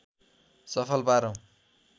सफल पारौँ